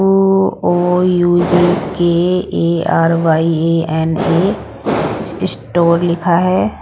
O U G K A R Y A N A store लिखा है।